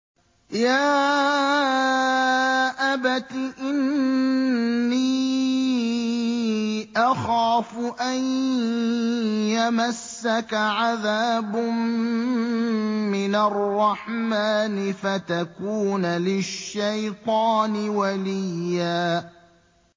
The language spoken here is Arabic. يَا أَبَتِ إِنِّي أَخَافُ أَن يَمَسَّكَ عَذَابٌ مِّنَ الرَّحْمَٰنِ فَتَكُونَ لِلشَّيْطَانِ وَلِيًّا